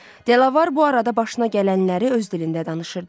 Delavar bu arada başına gələnləri öz dilində danışırdı.